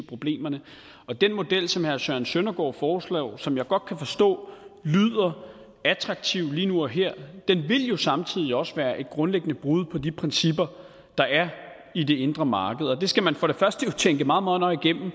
problemerne og den model som herre søren søndergaard foreslår og som jeg godt kan forstå lyder attraktiv lige nu og her vil jo samtidig også være et grundlæggende brud på de principper der er i det indre marked det skal man for det første tænke meget meget nøje igennem og